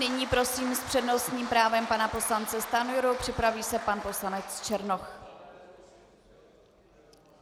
Nyní prosím s přednostním právem pana poslance Stanjuru, připraví se pan poslanec Černoch.